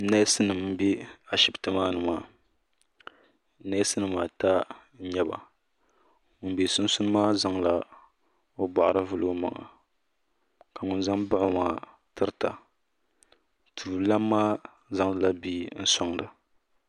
Neesinima m-be Ashibiti maa ni maa neesinima ata n-nyɛ ba ŋun be sunsuuni maa zaŋla o bɔɣiri vuli o maŋa ka ŋun za m-baɣi o maa tirita tuuli Lana maa zaŋdila bia n-sɔŋda.